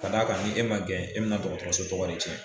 Ka d'a kan ni e man gɛn e bɛna dɔgɔtɔrɔso tɔgɔ de cɛn.